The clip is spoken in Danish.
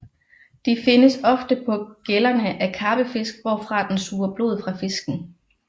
De findes ofte på gællerne af karpefisk hvorfra den suger blod fra fisken